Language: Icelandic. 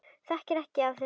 Ég þekki ekkert af þessu.